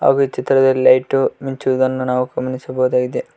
ಹಾಗು ಈ ಚಿತ್ರದಲ್ಲಿ ಲೈಟ್ ಮಿಂಚುವುದನ್ನು ನಾವು ಗಮನಿಸಬಹುದಾಗಿದೆ.